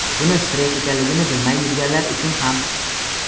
buni stress ekanligini bilmay yurganlar uchun ham.